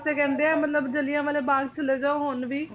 ਤੇ ਕਹਿੰਦੇ ਆ ਮਤਲਬ ਜਲ੍ਹਿਆਂਵਾਲਾ ਬਾਗ ਚਲੇ ਜਾਓ ਹੁਣ ਵੀ